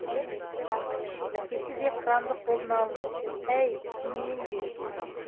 әкесі де қыранды қолына алып әй шыныменде